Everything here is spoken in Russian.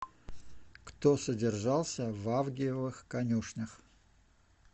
кто содержался в авгиевых конюшнях